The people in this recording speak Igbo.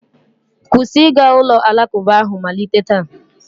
kwụsị ịga ụlọ alakụba ahụ malite taa!